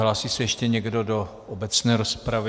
Hlásí se ještě někdo do obecné rozpravy?